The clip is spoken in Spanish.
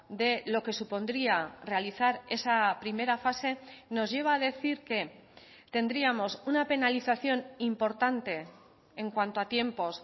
de lo que supondría realizar esa primera fase nos lleva a decir que tendríamos una penalización importante en cuanto a tiempos